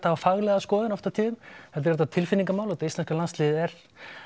hafa faglega skoðun oft á tíðum heldur er þetta tilfinningamál út af íslenska landsliðið er